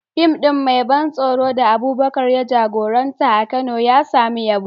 Fim ɗin mai ban tsoro da Abubakar ya jagoranta a Kano ya samu yabo.